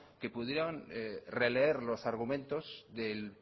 que pudieron releer los argumentos del